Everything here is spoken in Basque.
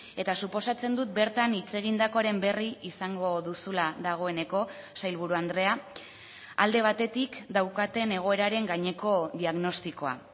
eta suposatzen dut bertan hitz egindakoaren berri izango duzula dagoeneko sailburu andrea alde batetik daukaten egoeraren gaineko diagnostikoa